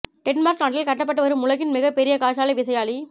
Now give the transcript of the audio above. Denmark நாட்டில் கட்டப்பட்டு வரும் உலகின் மிக பெரிய காற்றாலை விசையாழி